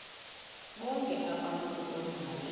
bonk abantu odale